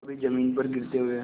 कभी जमीन पर गिरते हुए